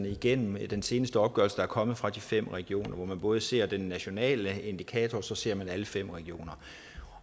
igennem den seneste opgørelse er kommet fra de fem regioner hvor man både ser den nationale indikator og så ser alle fem regioner